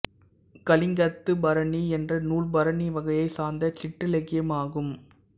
கலிங்கத்துப்பரணி என்ற நூல் பரணி வகையைச் சார்ந்த சிற்றிலக்கியம் ஆகும்